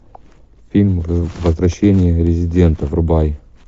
фильм возвращение резидента врубай